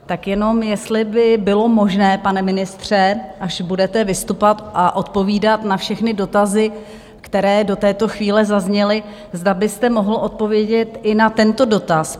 Tak jenom jestli by bylo možné, pane ministře, až budete vystupovat a odpovídat na všechny dotazy, které do této chvíle zazněly, zda byste mohl odpovědět i na tento dotaz?